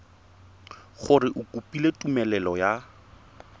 gore o kopile tumelelo ya